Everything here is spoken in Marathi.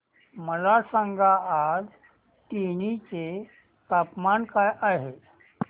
मला सांगा आज तेनी चे तापमान काय आहे